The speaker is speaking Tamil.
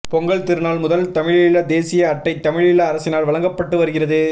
பொங்கல் திருநாள் முதல் தமிழீழ தேசிய அட்டை தமிழீழ அரசினால் வழங்கப்பட்டு வருகிறது